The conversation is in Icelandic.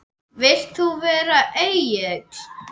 Vilt þú vera Egill?